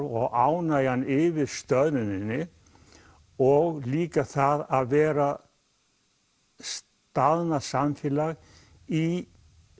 og ánægjan yfir stöðnuninni og líka það að vera staðnað samfélag í